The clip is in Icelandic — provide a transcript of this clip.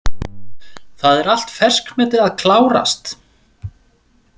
Það er allt ferskmeti að klárast.